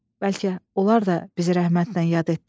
Bəlkə onlar da bizi rəhmətlə yad etdilər.